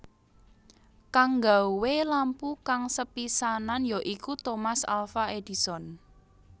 Kang nggawé lampu kang sepisanan ya iku Thomas Alfa Edison